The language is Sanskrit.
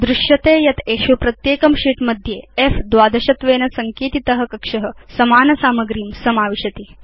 वयं पश्याम यत् एषु प्रत्येकं शीत् मध्ये फ्12 त्वेन सङ्केतित कक्ष समान सामग्रीं समाविशति